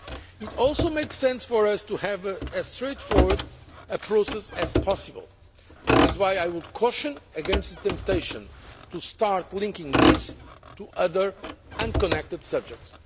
one. It also makes sense for us to have as straightforward a process as possible. That is why I would caution against the temptation to start linking this to other, unconnected subjects.